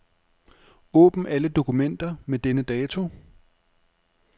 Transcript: Åbn alle dokumenter med denne dato.